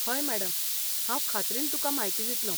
हय मॅडम, हांव खात्रीन तुकां म्हायती दितलों.